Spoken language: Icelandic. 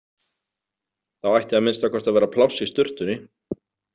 Þá ætti að minnsta kosti að vera pláss í sturtunni.